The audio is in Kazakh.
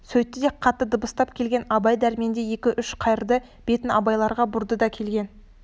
сөйтті де қатты дыбыстап келген абай дәрмен деп екі-үш қайырды бетін абайларға бұрды да келген